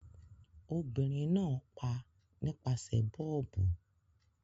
Obìnrin náà pa nípasẹ̀ bọ́ọ̀bù.